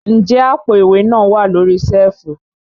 Ǹjẹ́ àpò ìwé náà wà lórí síẹ̀fù?